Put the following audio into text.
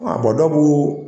A